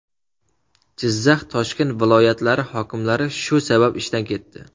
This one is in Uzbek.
Jizzax, Toshkent viloyatlari hokimlari shu sabab ishdan ketdi .